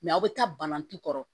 aw bɛ taa balani kɔrɔ